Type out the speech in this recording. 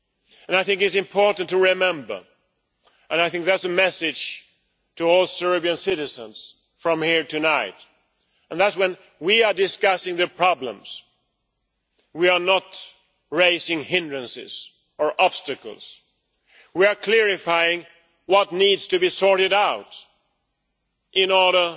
And I think it is important to remember and I think that is a message to all Serbian citizens from here tonight that, when we are discussing the problems, we are not raising hindrances or obstacles. We are clarifying what needs to be sorted out in order